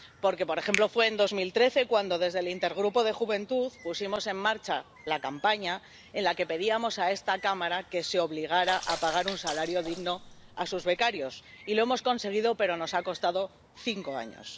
Porque, por ejemplo, fue en 2013 cuando desde el Intergrupo de Juventud pusimos en marcha la campaña en la que pedíamos a esta Cámara que se obligara a pagar un salario digno a sus becarios, y lo hemos conseguido, pero nos ha costado cinco años.